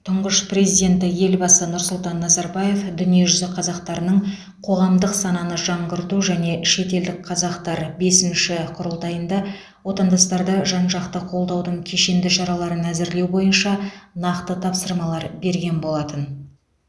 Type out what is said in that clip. тұңғыш президенті елбасы нұрсұлтан назарбаев дүниежүзі қазақтарының қоғамдық сананы жаңғырту және шетелдік қазақтар бесінші құрылтайында отандастарды жан жақты қолдаудың кешенді шараларын әзірлеу бойынша нақты тапсырмалар берген болатын